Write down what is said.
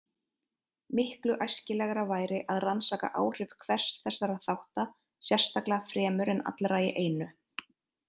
Miklu æskilegra væri að rannsaka áhrif hvers þessara þátta sérstaklega fremur en allra í einu.